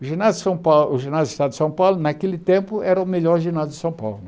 O ginásio de São Paulo o ginásio do estado de São Paulo, naquele tempo, era o melhor ginásio de São Paulo.